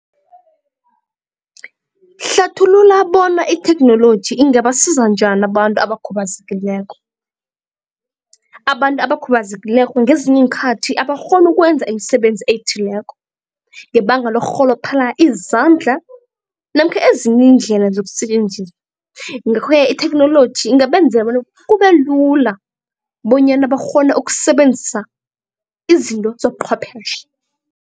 Hlathulula bona itheknoloji ingabasiza njani abantu abakhubazekileko. Abantu abakhubazekileko ngezinye iinkhathi abakghoni ukwenza imisebenzi ethileko ngebanga lokurholophala izandla namkha ezinye iindlela ngakho-ke itheknoloji ingabenza bona kube lula bonyana bakghone ukusebenzisa izinto zobuchwephetjhe.